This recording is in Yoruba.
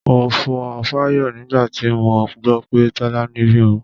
Mo fò fáyọ̀ nígbà tí mo gbọ́ pé Tọ́lání bímọ.